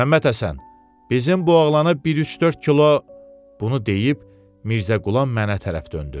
Məmmədhəsən, bizim bu oğlana bir üç-dörd kilo, bunu deyib Mirzə Qulam mənə tərəf döndü.